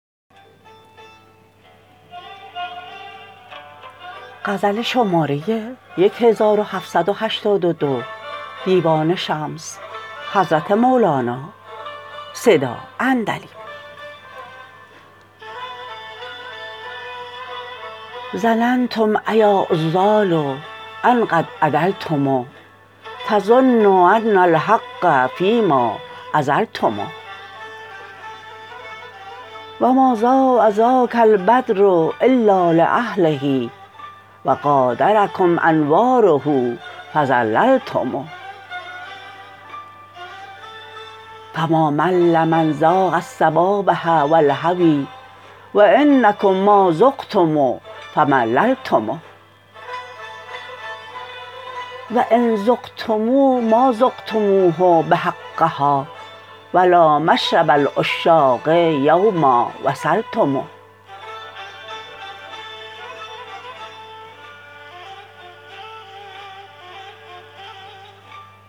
ظننتم ایا عذال ان قد عدلتم تظنون ان الحق فیما عذلتم و ما ضاء ذاک البدر الا لاهله و غادرکم انواره فضللتم فما مل من ذاق الصبابه و الهوی و انکم ما ذقتم فمللتم و ان ذقتموا ما ذقتموه بحقها و لا مشرب العشاق یوما وصلتم